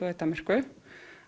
og í Danmörku